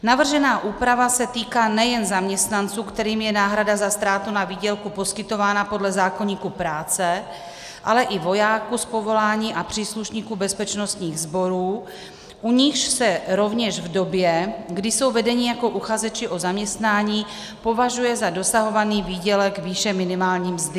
Navržená úprava se týká nejen zaměstnanců, kterým je náhrada za ztrátu na výdělku poskytována podle zákoníku práce, ale i vojáků z povolání a příslušníků bezpečnostních sborů, u nichž se rovněž v době, kdy jsou vedeni jako uchazeči o zaměstnání, považuje za dosahovaný výdělek výše minimální mzdy.